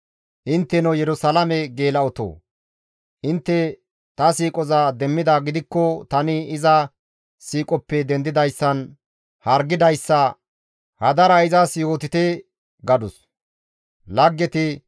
Intteno Yerusalaame geela7otoo! Intte ta siiqoza demmidaa gidikko tani iza siiqoppe dendidayssan hargidayssa hadara izas yootite» gadus.